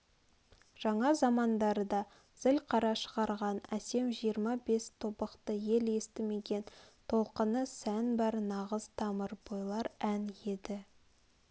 жаңа замандарда зілқара шығарған әсем жиырма-бес тобықты ел естмеген толқыны сән бар нағыз тамыр бойлар ән еді